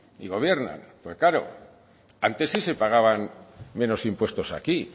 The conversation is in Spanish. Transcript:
y gobiernan porque claro antes sí se pagaban menos impuestos aquí